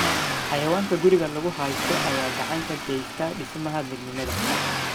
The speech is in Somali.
Xayawaanka guriga lagu haysto ayaa gacan ka geysta dhismaha midnimada.